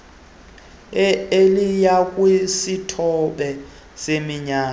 eliya kwisithoba seminyala